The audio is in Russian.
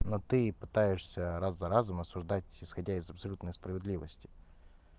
но ты пытаешься раз за разом осуждать исходя из абсолютной справедливости